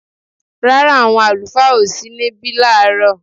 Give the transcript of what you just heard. Rárá, àwọn àlùfáà ò sí níbí láàárọ̀